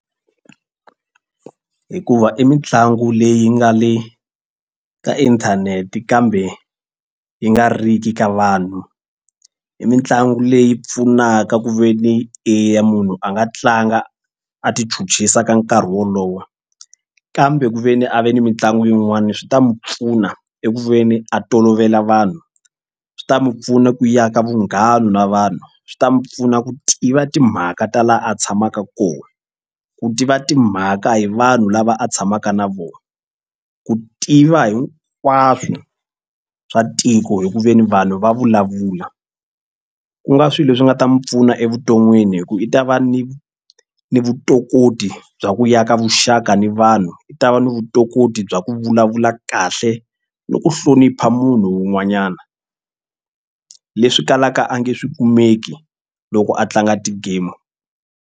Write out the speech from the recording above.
Hikuva i mitlangu leyi nga le ka inthanete kambe yi nga riki ka vanhu i mitlangu leyi pfunaka ku ve ni eya munhu a nga tlanga a tichuchisa ka nkarhi wolowo kambe ku ve ni a va ni mitlangu yin'wana swi ta mu pfuna eku ve ni a tolovela vanhu swi ta mu pfuna ku aka vunghana na vanhu swi ta mu pfuna ku tiva timhaka ta laha a tshamaka kona. Ku tiva timhaka hi vanhu lava a tshamaka na vona ku tiva hinkwaswo swa tiko hi ku ve ni vanhu va vulavula ku nga swilo leswi nga ta mu pfuna evuton'wini hi ku i ta va ni ni vutokoti bya ku ya ka vuxaka ni vanhu i ta va ni vutokoti bya ku vulavula kahle ni ku hlonipha munhu un'wanyana leswi kalaka a nge swi kumeki loko a tlanga ti-game.